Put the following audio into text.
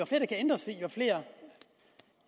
kan ændres i jo flere